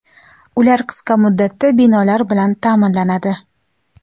Ular qisqa muddatda binolar bilan ta’minlanadi.